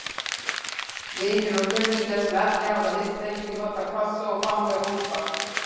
Vinir og kunningjar, sem ekki hafa hist lengi, nota kossa og faðmlög óspart.